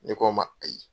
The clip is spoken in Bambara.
Ne k'a ma ayi